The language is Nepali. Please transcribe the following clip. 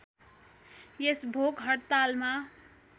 यस भोक हड्तालमा